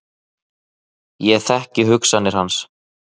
Ég þekki hugsanir hans.